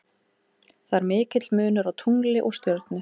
Það er mikill munur á tungli og stjörnu.